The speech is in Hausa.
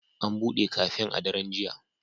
An buɗe kafen a daren jiya.